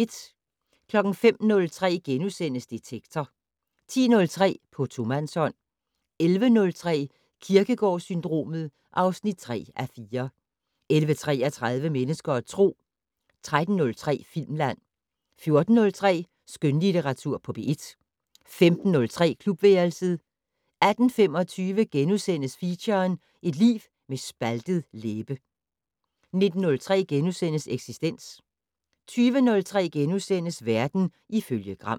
05:03: Detektor * 10:03: På tomandshånd 11:03: Kierkegaard-syndromet (3:4) 11:33: Mennesker og Tro 13:03: Filmland 14:03: Skønlitteratur på P1 15:03: Klubværelset 18:25: Feature: Et liv med en spaltet læbe * 19:03: Eksistens * 20:03: Verden ifølge Gram *